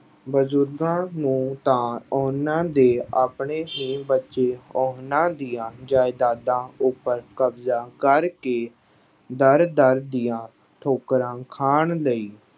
ਬਜ਼ੁਰਗਾਂ ਨੂੰ ਤਾਂ ਉਹਨਾਂ ਦੇ ਆਪਣੇ ਹੀ ਬੱਚੇ ਉਹਨਾਂ ਦੀਆਂ ਜਾਇਦਾਦਾਂ ਉੱਪਰ ਕਬਜ਼ਾ ਕਰਕੇ ਦਰ-ਦਰ ਦੀਆਂ ਠੋਕਰਾਂ ਖਾਣ ਲਈ